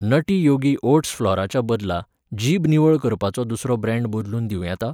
Nutty योगि oats फ्लॉराच्या बदला जीब निवळ करपाचो दुसरो ब्रँड बदलून दिवं येता?